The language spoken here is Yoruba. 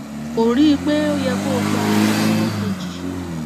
kò rí i pé ó yẹ kó gba èrò kejì